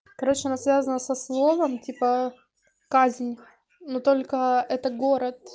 короче она связана со словом типа казнь но только это город